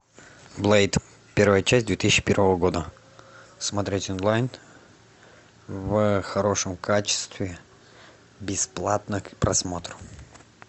блэйд первая часть две тысячи первого года смотреть онлайн в хорошем качестве бесплатно к просмотру